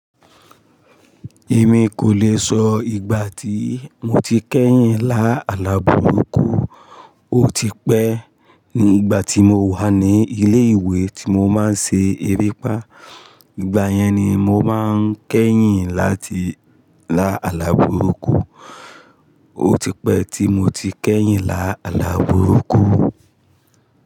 Èmi kò lè sọ ìgbà tí mo ti kẹ́yìn lá àlaburúkù. Ó ti pẹ́ ní ìgbà tí mo wà ní ilé ìwé tí mo máa ń ṣe erépá. Ìgbà yẹn ni mo máa ń kẹ́yìn láti lá àlábùrúkú. Ó ti pẹ́ tí mo ti kẹ́yìn lá àlabúrú kù.